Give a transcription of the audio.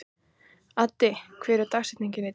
Addi, hver er dagsetningin í dag?